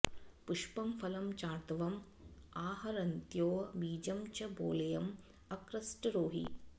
पुष्पं फलं चार्तवं आहरन्त्यो बीजं च बालेयं अकृष्टरोहि